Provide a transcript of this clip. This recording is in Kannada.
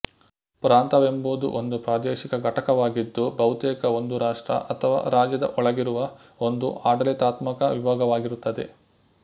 ಪ್ರಾಂತ ವೆಂಬುದು ಒಂದು ಪ್ರಾದೇಶಿಕ ಘಟಕವಾಗಿದ್ದು ಬಹುತೇಕ ಒಂದು ರಾಷ್ಟ್ರ ಅಥವಾ ರಾಜ್ಯದ ಒಳಗಿರುವ ಒಂದು ಆಡಳಿತಾತ್ಮಕ ವಿಭಾಗವಾಗಿರುತ್ತದೆ